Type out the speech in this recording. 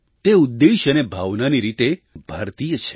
તે ઉદ્દેશ્ય અને ભાવનાની રીતે ભારતીય છે